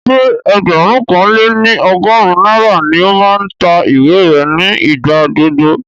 Ṣé ẹgbẹ̀rún kan lé ní ọgọ́rin náírà ni ó máa ń ta ìwé rẹ̀ ní ìgbà gbogbo